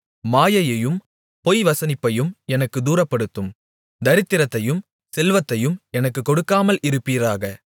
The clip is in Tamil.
மாயையையும் பொய்வசனிப்பையும் எனக்குத் தூரப்படுத்தும் தரித்திரத்தையும் செல்வத்தையும் எனக்குக் கொடுக்காமல் இருப்பீராக